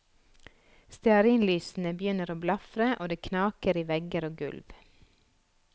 Stearinlysene begynner å blafre og det knaker i vegger og gulv.